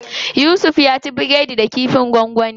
Yusuf ya ci biredi da kifin gwangwani.